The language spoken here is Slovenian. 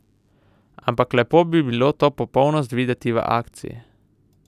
Ampak lepo bi bilo to popolnost videti v akciji.